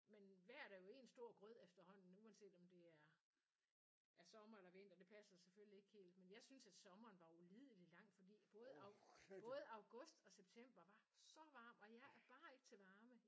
Men vejret er jo en stor grød efterhånden uanset om det er ja sommer eller vinter. Det passer selvfølgelig ikke helt men jeg synes at sommeren var ulidelig lang fordi både au både august og september var så varm og jeg er bare ikke til varme